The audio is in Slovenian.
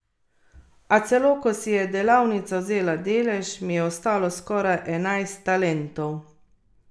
A celo ko si je delavnica vzela delež, mi je ostalo skoraj enajst talentov.